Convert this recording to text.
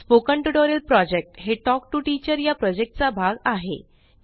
spoken tutorial project हे talk to teacher या प्रॉजेक्टचा भाग आहे